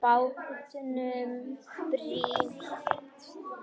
Bátnum brýnt.